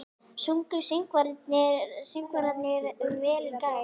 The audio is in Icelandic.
Sungu söngvararnir vel í gær?